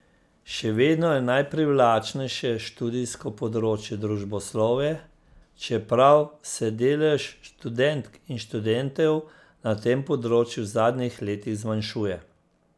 Še vedno je najprivlačnejše študijsko področje družboslovje, čeprav se delež študentk in študentov na tem področju v zadnjih letih zmanjšuje.